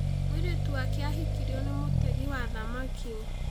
Mũirĩtu wake ahikirio nĩ mũtegi wa thamaki.